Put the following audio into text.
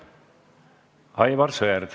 Aivar Sõerd.